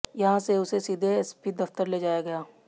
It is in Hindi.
यहां से उसे सीधे एसपी दफ्तर ले जाया गया